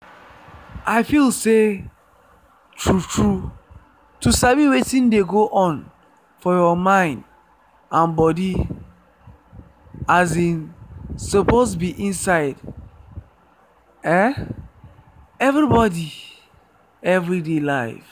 i feel say true-true to sabi wetin dey go on for your mind and body um suppose be inside um everybody every day life.